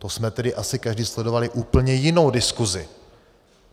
To jsme tedy asi každý sledovali úplně jinou diskusi.